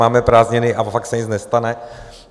Máme prázdniny a fakt se nic nestane.